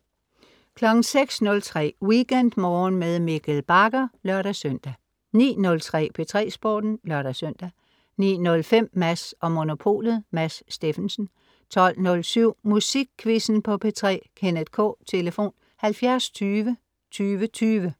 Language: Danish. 06.03 WeekendMorgen med Mikkel Bagger (lør-søn) 09.03 P3 Sporten (lør-søn) 09.05 Mads & Monopolet. Mads Steffensen 12.07 Musikquizzen på P3. Kenneth K. Tlf.: 70 20 20 20